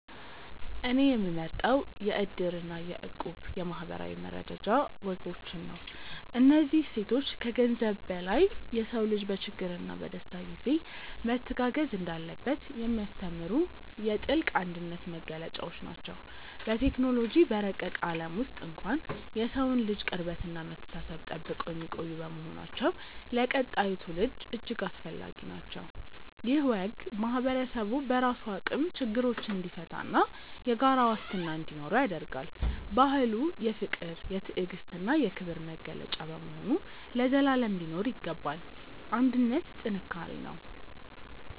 እኔ የምመርጠው የ"እድር" እና የ"እቁብ" የማኅበራዊ መረዳጃ ወጎችን ነው። እነዚህ እሴቶች ከገንዘብ በላይ የሰው ልጅ በችግርና በደስታ ጊዜ መተጋገዝ እንዳለበት የሚያስተምሩ የጥልቅ አንድነት መገለጫዎች ናቸው። በቴክኖሎጂ በረቀቀ ዓለም ውስጥ እንኳን የሰውን ልጅ ቅርበትና መተሳሰብ ጠብቀው የሚቆዩ በመሆናቸው ለቀጣዩ ትውልድ እጅግ አስፈላጊ ናቸው። ይህ ወግ ማኅበረሰቡ በራሱ አቅም ችግሮችን እንዲፈታና የጋራ ዋስትና እንዲኖረው ያደርጋል። ባህሉ የፍቅር፣ የትዕግስትና የክብር መገለጫ በመሆኑ ለዘላለም ሊኖር ይገባል። አንድነት ጥንካሬ ነው።